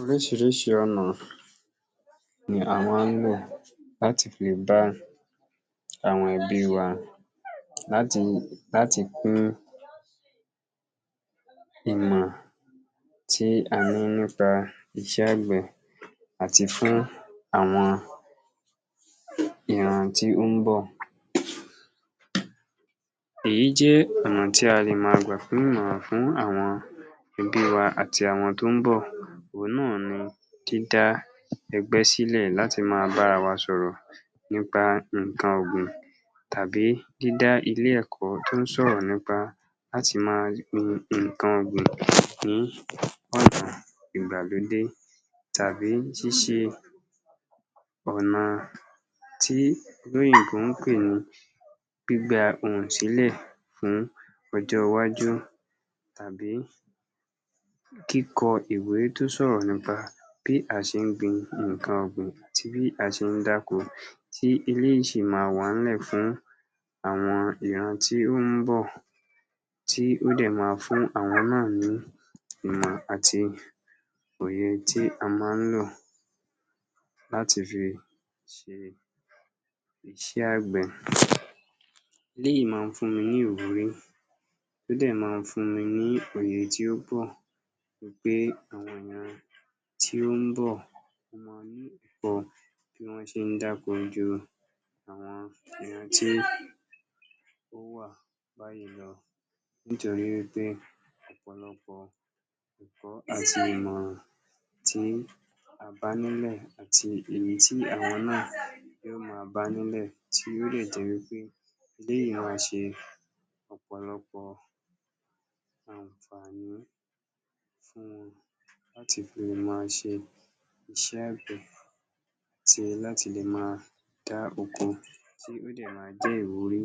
Oríṣiríṣi ọ̀nà ni a máa ń lò láti fi dá àwọn ẹbí wa láti láti pín ìmọ̀ tí a ní nípa iṣẹ́ àgbẹ̀ àti fún àwọn ìran tí ó ń bọ̀. Èyí jẹ́ ọ̀nà tí a lè máa gbà pín ìmọ̀ràn fún àwọn ẹbí wa àti àwọn tó ń bọ̀ òun náà ni dídá ẹgbẹ́ sílẹ̀ láti máa bá ara wa sọ̀rọ̀ nípa nǹkan ọ̀gbìn tàbí dídá ilé-ẹ̀kọ́ tó ń sọ̀rọ̀ nípa láti máa gbin nǹkan ọ̀gbìn ní ọ̀nà ìgbàlódé tàbí ṣíṣe ọ̀nà tí olóyìnbó ń pè ní gbígba ohùn sílẹ̀ fún ọjọ́ iwájú tàbí kíkọ ìwé tó sọ̀rọ̀ nípa bí a ṣe ń gbin nǹkan ọ̀gbìn, tí a ṣe ń dáko tí eléyìí ṣì máa wà ńlẹ̀ fún àwọn ìran tí ó ń bọ̀ tí ó dẹ̀ máa fún àwọn náà ní ìmọ̀ àti òye tí a máa ń lò láti fi ṣe iṣẹ́ àgbẹ̀. Eléyìí máa ń fún ni ní ìwúrí ó dẹ̀ máa ń fún ni ní òye tí ó pọ̀ wí pé tí ó ń bọ̀, ó máa ní tí wọ́n ṣe ń dáko ju èèyàn tí ó wà nítorí wí pé ọ̀pọ̀lọpọ̀ ẹ̀kọ́ àti ìmọ̀ràn tí a bá nínú ẹ̀ àti èí tí àwọn náà ó máa bá nílẹ̀ tí yó dẹ̀ máa ṣe ọ̀pọ̀lọpọ̀ àǹfàní fún wọn láti fi lè máa ṣe iṣẹ́ àgbẹ̀ àti láti lè máa dáàbòbò tí yó dẹ̀ máa jẹ́ ìwúrí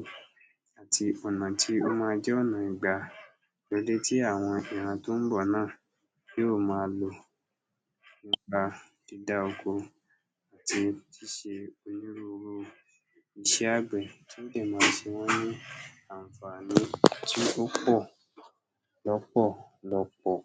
àti ọ̀nà tí ó máa jẹ́ ọ̀nà tí àwọn ìran tí ó ń bọ̀ náà yóò máa lò nípa dídá oko àti ṣíṣe onírúuru iṣẹ́ àgbẹ̀ tí ó dẹ̀ máa ṣe wọ́n ní àǹfàní tí ó pọ̀ lọ́pọ̀lọpọ̀.